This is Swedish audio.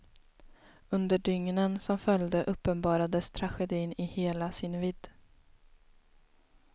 Under dygnen som följde uppenbarades tragedin i hela sin vidd.